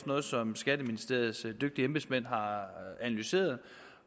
noget som skatteministeriets dygtige embedsmænd har analyseret